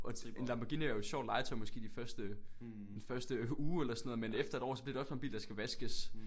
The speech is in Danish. Og til en Lamborghini er jo et sjovt legetøj måske de første den første uge eller sådan noget men efter et år så bliver det også bare en bil der skal vaskes